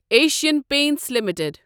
Asian paints limited